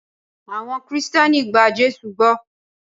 Awon Kristẹni gba Jésụ gbó.